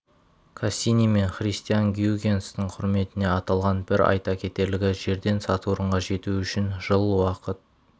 кассини мен христиан гюйгенстің құрметіне аталған бір айта кетерлігі жерден сатурнға жету үшін жыл уақыт